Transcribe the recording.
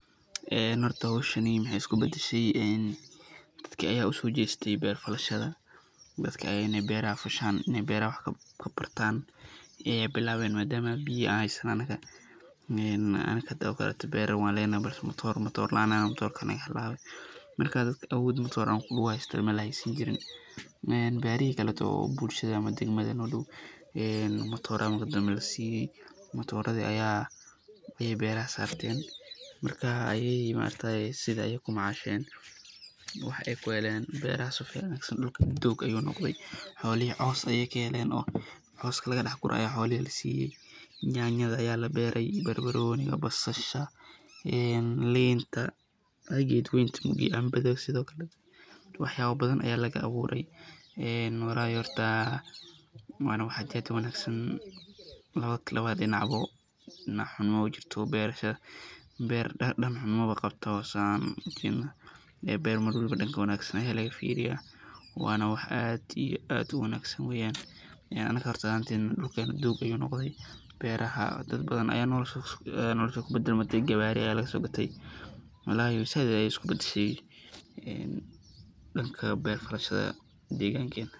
Horta howshani waxeey isku badashe dadka ayaa usoo jeeste beer falashada, dadka ayaa inaay beeraha fashaan, beeraha wax kagurtaan ayeey bilaaben maadama biya aay haystaan, anaga hadoo kale beera waan lenahay balse matoor laan ayaan nahay matoorka ayaa naga halaabe, Marka dadka Abood matoor uhaystaan, beeraha kaleete oo bulshada degmada noo dow matoor ayaa lasiiye, matooradi ayaa beeraha saarteen, marka ayagi sidaas ayeey kumacasheen, wax ayeey kuheleen, beeraha si fican dulka doog ayuu noqde, xoolihi coos ayeey kaheleen oo cooski laga dex gure ayaa xoolihi lasiiye, nyanyada ayaa labeere, barbarooniga, basasha, liinta, geed canbada sido kale, wax yaaba badan ayaa laga abuure, walahi horta waana wax aad iyo aad uwanagsan labada dinac ba dinac xum maba jirto, beerasha, beer dan xum maba qabto, beer mar walbo danka wanagsan ayaa laga fiiriya, waana wax aad iyo aad uwanagsan weeyan, anaga ahaanteyna dulkeena doog ayuu noqde, beeraha dad badan ayaa noloshooda kubadalmate gawaari ayaa laga soo gate, walahi sait ayeey isku badashay danka beer falashada deegan keeena.